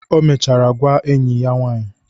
O mechara gwaa enyi ya nwanyị.